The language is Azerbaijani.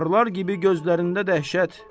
Barlar kimi gözlərində dəhşət.